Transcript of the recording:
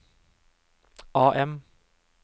AM